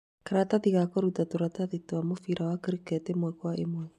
karatathi ga kũruta tũratathi twa mũbira wa cricket ĩmwe kwa ĩmwe